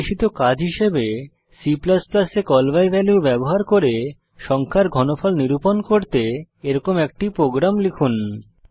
নির্দেশিত কাজ হিসাবে C এ কল বাই ভ্যালিউ ব্যবহার করে সংখ্যার ঘনফল নিরুপন করতে একইরকম একটি প্রোগ্রাম লিখুন